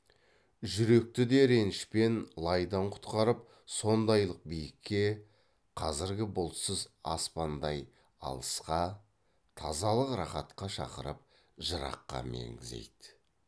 жүректі де реніш пен лайдан құтқарып сондайлық биікке қазіргі бұлтсыз аспандай алысқа тазалық рақатқа шақырып жыраққа меңзейді